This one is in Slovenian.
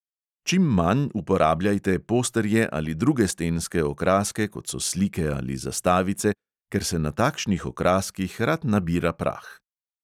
Čim manj uporabljajte posterje ali druge stenske okraske, kot so slike ali zastavice, ker se na takšnih okraskih rad nabira prah.